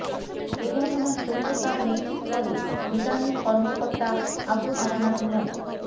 এ ঘটনার সত্যতা নিশ্চিত করে রিটার্নিং কর্মকর্তা আবু হাসনাত মো